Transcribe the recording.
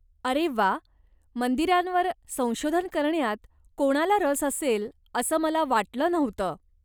अरे व्वा, मंदिरांवर संशोधन करण्यात कोणाला रस असेल असं मला वाटलं नव्हतं.